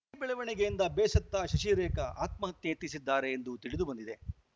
ಈ ಬೆಳವಣಿಗೆಯಿಂದ ಬೇಸತ್ತ ಶಶಿರೇಖಾ ಆತ್ಮಹತ್ಯೆ ಯತ್ನಿಸಿದ್ದಾರೆ ಎಂದು ತಿಳಿದು ಬಂದಿದೆ